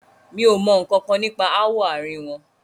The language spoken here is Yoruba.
Mi o mọ nkankan nípa ááwọ̀ àárín wọn.